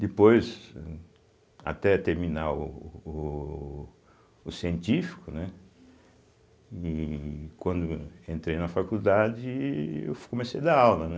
Depois, uhm até terminar o o científico, né, ih quando entrei na faculdade, eu fu comecei a dar aula, né.